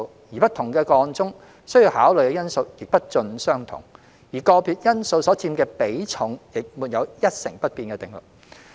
在不同的個案中，需要考慮的因素亦不盡相同，而個別因素所佔的比重也沒有一成不變的定律。